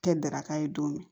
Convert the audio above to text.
Tɛ daraka ye don min